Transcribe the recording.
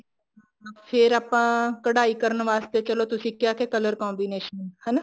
ਫ਼ੇਰ ਆਪਾਂ ਕਢਾਈ ਕਰਨ ਵਾਸਤੇ ਚਲੋ ਤੁਸੀਂ ਕਿਹਾ color combination